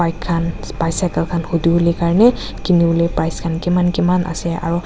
bike khan cycle khan hudiwolae karne kiniwolae price khan kiman kiman ase aro.